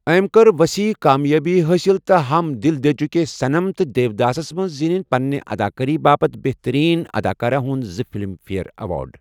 أمۍ کٔر ؤسیع کامیٲبی حٲصِل تہٕ ہم دِل دَے چُکے صنم تہٕ دیوداسَس منٛز زِیٖنِنۍ پنِنہِ اداکٲری باپتھ بہتٔریٖن اداکارہ ہُنٛد زٕ فلم فیئر ایوارڈ۔